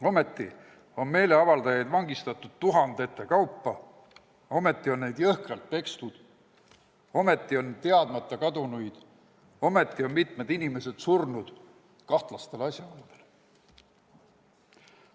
Ometi on meelevaldajaid tuhandete kaupa vangistatud ja jõhkralt pekstud, ometi on teadmata kadunuid ja mitmed inimesed kahtlastel asjaoludel surnud.